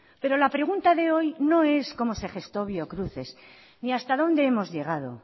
pero la pregunta de hoy no es cómo se gestó biocruces ni hasta dónde hemos llegado